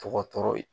Tɔgɔtɔrɔw ye